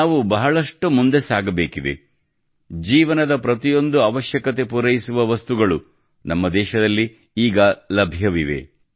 ನಾವು ಬಹಳಷ್ಟು ಮುಂದೆ ಸಾಗಬೇಕಿದೆ ಜೀವನದ ಪ್ರತಿಯೊಂದು ಅವಶ್ಯಕತೆ ಪೂರೈಸುವ ವಸ್ತುಗಳು ನಮ್ಮ ದೇಶದಲ್ಲಿ ಈಗ ಲಭ್ಯವಿವೆ